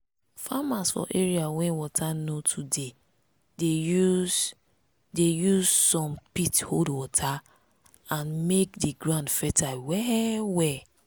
farmers for areas wey water no too dey dey use dey use some pit hold water and make di ground fertile well well.